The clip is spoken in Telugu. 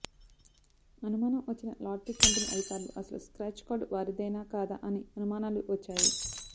అనుమానం వచ్చిన లాటరీ కంపెనీ అధికారులు అసలు స్క్రాచ్ కార్డ్ వారిదేనా కాదా అని అనుమానాలు వచ్చాయి